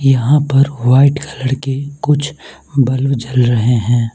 यहां पर white colour के कुछ बल्ब जल रहे हैं।